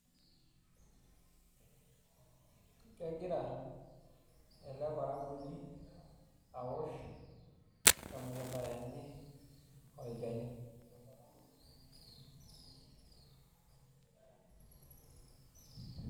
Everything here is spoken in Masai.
Kegira eleparakuoni aosh emukunda enye olchani.